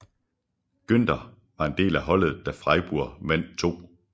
Günter var del af holdet da Freiburg vandt 2